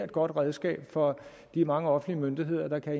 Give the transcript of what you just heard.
godt redskab for de mange offentlige myndigheder der kan